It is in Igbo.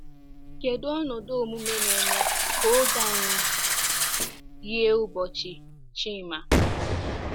Kedu ọnọdụ omume na-eme ka oge anyị yie ụbọchị Chima?